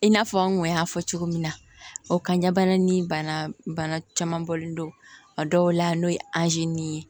I n'a fɔ an kun y'a fɔ cogo min na o kaɲa bana ni bana bana caman bɔlen don a dɔw la n'o ye ye